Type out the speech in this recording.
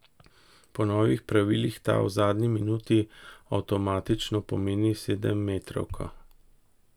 Po novih pravilih ta v zadnji minuti avtomatično pomeni sedemmetrovko.